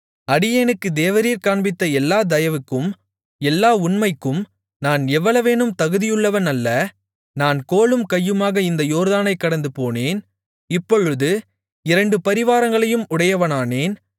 அடியேனுக்கு தேவரீர் காண்பித்த எல்லா தயவுக்கும் எல்லா உண்மைக்கும் நான் எவ்வளவேனும் தகுதியுள்ளவன் அல்ல நான் கோலும் கையுமாக இந்த யோர்தானைக் கடந்துபோனேன் இப்பொழுது இவ்விரண்டு பரிவாரங்களையும் உடையவனானேன்